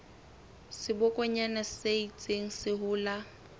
sebokonyana se ntseng se hola